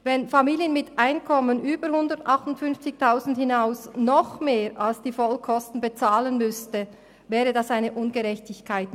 Wenn Familien mit Einkommen von über 158 000 Franken mehr als die Vollkosten bezahlen müssten, wäre das eine Ungerechtigkeit.